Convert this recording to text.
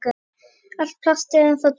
Allt plast er ennþá til.